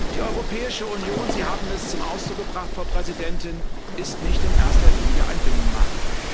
Die Europäische Union, Sie haben es zum Ausdruck gebracht, Frau Präsidentin, ist nicht in erster Linie ein Binnenmarkt.